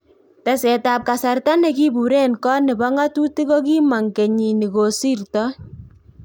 Teset ab kasarta ne kibure en kot nebo ng'atutik kokimong kenit nikosirtoi